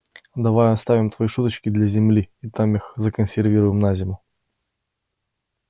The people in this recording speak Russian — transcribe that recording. давай оставим твои шуточки для земли и там их законсервируем на зиму